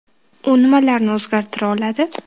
U nimalarni o‘zgartira oladi?